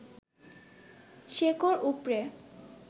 শেকড় উপড়ে